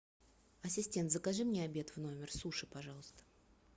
ассистент закажи мне обед в номер суши пожалуйста